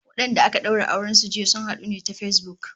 Wadanda aka daura auren su jiya, sun hadu ne ta Facebook